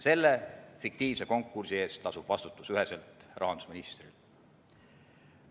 Selle fiktiivse konkursi eest lasub vastutus üheselt rahandusministril.